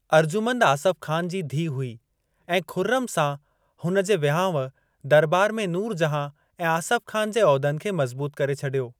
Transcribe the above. अर्जुमंद आसफ़ ख़ान जी धीउ हुई ऐं खु़र्रम सां हुन जे विहांउ दरबार में नूर जहां ऐं आसफ़ ख़ान जे उहिदनि खे मज़बूत करे छडि॒यो।